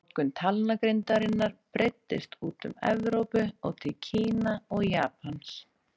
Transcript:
Notkun talnagrindarinnar breiddist út um Evrópu og til Kína og Japans.